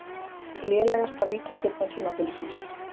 Lélegasta vítaspyrna tímabilsins?